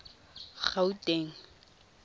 gauteng